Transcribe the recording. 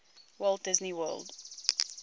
walt disney world